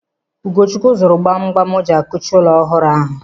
Ugochukwu zụrụ gbam gbam o ji a kuchi ụlọ ọhụrụ ahụ.